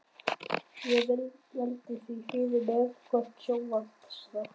Ég velti því fyrir mér hvort sjónvarpsþátt